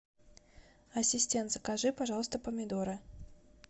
ассистент закажи пожалуйста помидоры